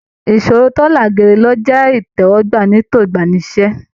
Ìṣọ̀rọ̀ to là géèrè ni o jẹ itẹwọgbà ní ètò igbani-sí-iṣẹ.